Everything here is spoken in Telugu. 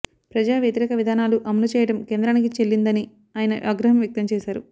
ప్రజా వ్యతిరేక విధానాలు అమలు చేయడం కేంద్రానికి చెల్లిందని ఆయన ఆగ్రహం వ్యక్తం చేశారు